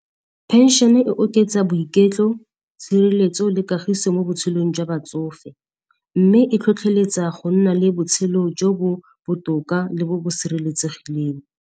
Phenšene e oketsa boiketlo, tshireletso le kagiso mo botshelong jwa batsofe. Mme e tlhotlheletsa go nna le botshelo jo bo botoka le bo bo sireletsegileng.